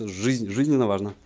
жизнь жизненно важно